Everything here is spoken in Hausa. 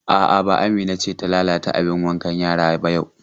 A'a, ba Amina ce ta lalata abin wankan yara ba yau.